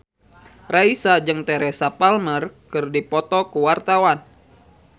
Raisa jeung Teresa Palmer keur dipoto ku wartawan